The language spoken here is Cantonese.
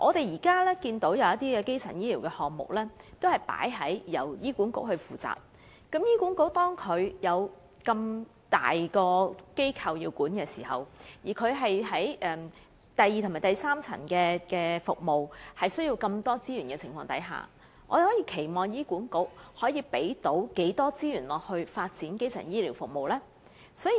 現時有部分基層醫療項目由醫管局負責，但醫管局本身已有一個龐大的架構需要管理，加上第二及第三層服務又需要極多資源，還能期望醫管局調撥多少資源發展基層醫療服務呢？